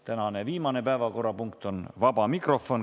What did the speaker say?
Tänane viimane päevakorrapunkt on vaba mikrofon.